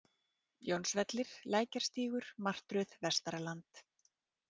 Jónsvellir, Lækjarstígur, Martröð, Vestaraland